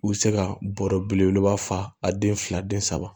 U bɛ se ka bɔrɔ belebeleba fa a den fila den saba